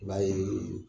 I b'a ye